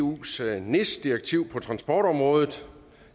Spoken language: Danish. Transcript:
eus nis direktiv på transportområdet